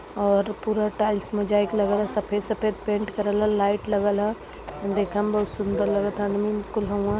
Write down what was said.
और पूरा टाइल्स मुजा एक लग ला सफ़ेद सफ़ेद पेंट करल ह। लाईट लागल ह। देखे मे बहुत सुन्दर लगात ह अदमी न कुल ह उ न --